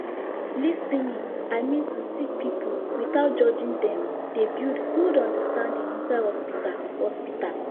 lis ten ing i min to sik pipul witout judging dem dey build gud understanding inside hosptital hosptital